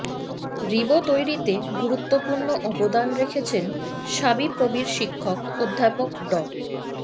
রিবো তৈরিতে গুরুত্বপূর্ণ অবদান রেখেছেন শাবিপ্রবির শিক্ষক অধ্যাপক ড